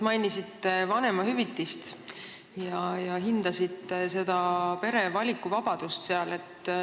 Mainisite vanemahüvitist ja hindasite pere valikuvabadust.